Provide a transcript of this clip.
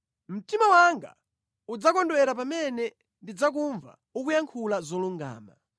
Mtima wanga udzakondwera pamene ndidzakumva ukuyankhula zolungama.